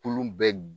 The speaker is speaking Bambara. Kulu bɛ